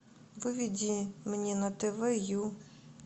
выведи мне на тв ю